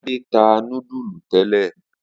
Ade ta nudulu tele.